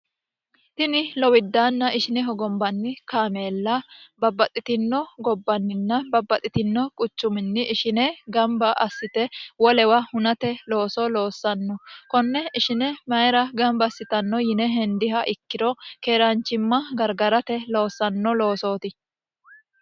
tini lowiddaanna ishine hogombanni kaameella babbaxxitino gobbanninna babbaxxitino quchuminni ishine gamba assite wolewa hunate looso loossanno konne ishine mayira gamba assitanno yine hendiha ikkiro keeraanchimma gargarate loossanno loosooti